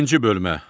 İkinci bölmə.